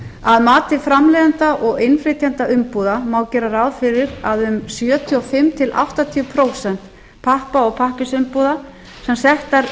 að mati framleiðenda og innflytjenda umbúða má gera ráð fyrir að um sjötíu og fimm áttatíu prósent pappa og pappírsumbúða sem settar